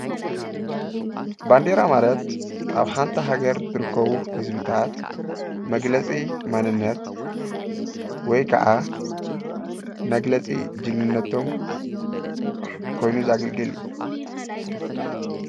ባንዴራ ማለት ኣብ ሓንቲ ሃገር ዝርከቡ ህዝብታት መግለፂ ማንነት ወየ ኸዓ መግለፂ ጅግንነቶም ኾይኑ ዘገልግል እዩ።